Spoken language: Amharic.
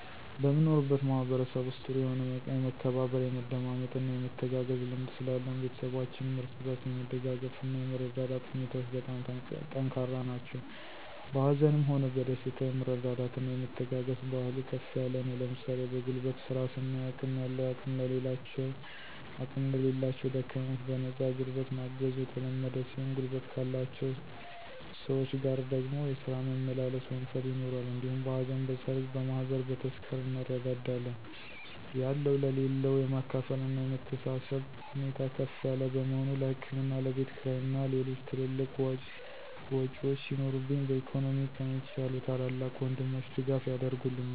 በምኖርበት ማህበረሰብ ውስጥ ጥሩ የሆነ የመከባበር፣ የመደማመጥና የመተጋገዝ ልምድ ስላለን ቤተሰባችንም እርስ በርስ የመደጋገፍና እና የመረዳዳት ሁኔታዎች በጣም ጠንካራ ነው። በሀዘንም ሆነ በደስታ የመረዳዳትና የመተጋገዝ ባህሉ ከፍ ያለ ነው ለምሣሌ በጉልበት ስራ ስናይ አቅም ያለው አቅም ለሌላቸው ደካሞች በነፃ ጉልበት ማገዙ የተለመደ ሲሆን ጉልበት ካላቸውን ሰወች ጋር ደግሞ የስራ መመላለስ (ወንፈል) ይኖራል። እንዲሁም በሀዘን: በሠርግ: በማህበር: በተስካር እንረዳዳለን። ያለው ለሌለው የማካፈልና የመተሳሰብብ ሁኔታ ከፍ ያለ በመሆኑ ለህክምና ለቤትክራይ እና ሌሎች ትልልቅ ዎጮች ሲኖሩብኝ በኢኮኖሚ ከኔ የተሻሉ ታላላቅ ወንድሞቸ ድጋፍ ያረጉልኛል።